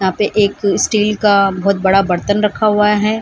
यहां पे एक स्टील का बहुत बड़ा बर्तन रखा हुआ है।